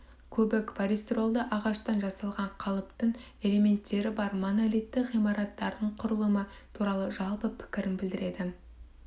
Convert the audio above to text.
көбік полистиролды ағаштан жасалған қалыптың элементтері бар монолитті ғимараттардың құрылымы туралы жалпы пікірін білдіреді